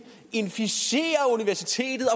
inficerer universitetet og